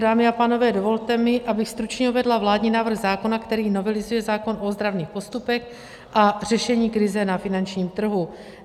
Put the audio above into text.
Dámy a pánové, dovolte mi, abych stručně uvedla vládní návrh zákona, který novelizuje zákon o ozdravných postupech a řešení krize na finančním trhu.